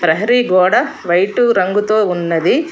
ప్రహరి గోడ వైట్ రంగుతో ఉన్నది.